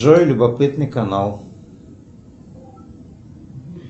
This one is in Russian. джой любопытный канал